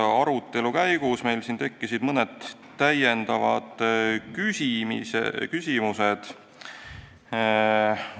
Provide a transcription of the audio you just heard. Arutelu käigus tekkisid meil mõned täiendavad küsimused.